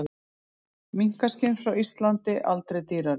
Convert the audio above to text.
Minkaskinn frá Íslandi aldrei dýrari